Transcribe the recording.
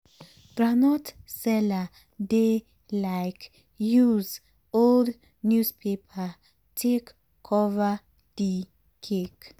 groundnut seller dey like use old newspaper take cover d cake.